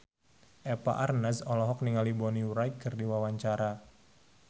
Eva Arnaz olohok ningali Bonnie Wright keur diwawancara